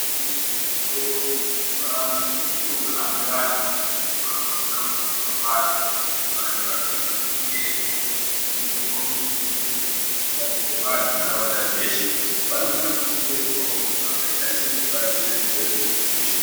Mweshe-mweshe muzvitoro, muzvibhorani nemunohambe vantu mumugwagwa, monamo mumapato. Vantu vanofane kunyorerwa vachikhombidzwa zvirwere zvirikutambudze vantu nharaunda dzeshe. Vanofana kuchenjedzwawo.